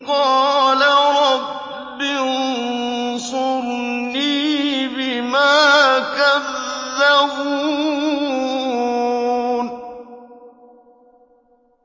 قَالَ رَبِّ انصُرْنِي بِمَا كَذَّبُونِ